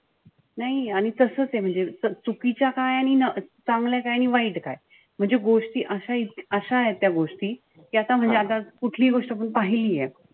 नाई आणि तसचे म्हणजे चुकीच्या काय आणि चांगल्या काय आणि वाईट काय. म्हणजे गोष्टी अशा अशाय त्या गोष्टी कि आता म्हणजे आता कुठलीही गोष्ट आपण पहिलीए.